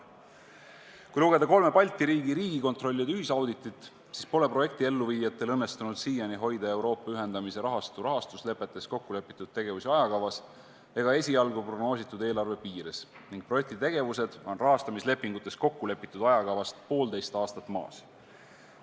" Kui lugeda kolme Balti riigi riigikontrollide ühisauditit, siis pole projekti elluviijatel seni õnnestunud hoida Euroopa ühendamise rahastu rahastuslepetes kokkulepitud tegevusi ajakavas ega esialgu prognoositud eelarve piires ning projekti tegevused on rahastamislepingutes kokkulepitud ajakavast poolteist aastat maas.